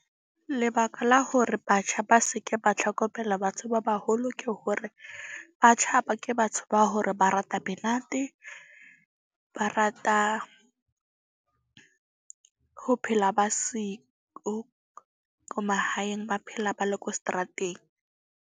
Lebaka la hore batjha ba seke ba tlhokomela batho ba baholo, ke hore batjha ba ke batho ba hore ba rata menate. Ba rata ho phela ba siko ko mahaeng, ba phela ba le ko seterateng.